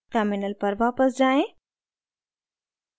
terminal पर वापस जाएँ